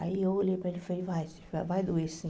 Aí eu olhei para ele e falei, vai sim vai, vai doer sim.